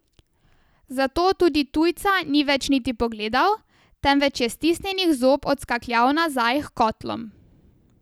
Zato tudi tujca ni več niti pogledal, temveč je stisnjenih zob odskakljal nazaj h kotlom.